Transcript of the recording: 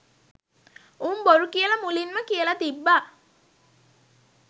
උං බොරු කියල මුලින්ම කියල තිබ්බ